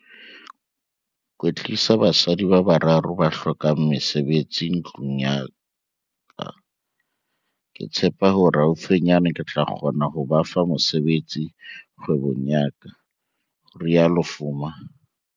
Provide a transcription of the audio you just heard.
"kwetlisa basadi ba bararo ba hlokang mesebetsi ntlung ya ka. Ke tshepa hore haufinyana ke tla kgona ho ba fa mosebetsi kgwebong ya ka," ho rialo Fuma.